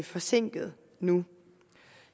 forsinket nu